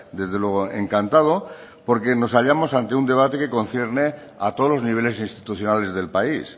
desde luego encantado porque nos hallamos ante un debate que concierne a todos los niveles institucionales del país